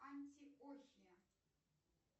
антиохия